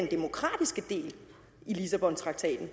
demokratiske del af lissabontraktaten